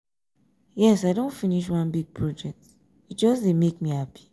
yes i don finish one big project e just dey make me happy.